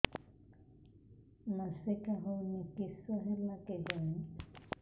ମାସିକା ହଉନି କିଶ ହେଲା କେଜାଣି